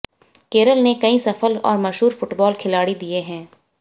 केरल ने कई सफल और मशहूर फुटबॉल खिलाड़ी दिए हैं